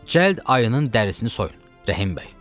Cəld ayının dərisini soyun, Rəhim bəy.